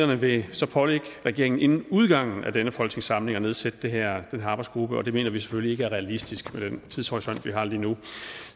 vil så pålægge regeringen inden udgangen af denne folketingssamling at nedsætte den her arbejdsgruppe og det mener vi selvfølgelig ikke er realistisk med den tidshorisont vi har lige nu